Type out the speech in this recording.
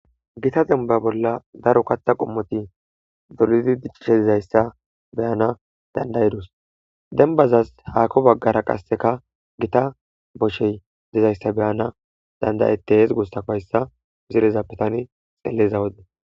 gita denba bolla daro katha qommoti doludi diccishe dizayssa beyana dandayedus denbazas haako baggara qasseka gita boshey dizayssa beyana dandayete hes gussakoyssa misireza pitani xeeleza wode